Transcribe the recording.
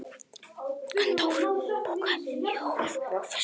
Gunndór, bókaðu hring í golf á föstudaginn.